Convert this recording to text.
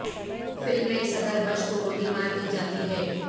film میں صدر Bush کو گولی مار دی جاتی ہے